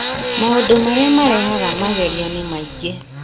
Maũndũ marĩa marehaga magerio nĩ maingĩ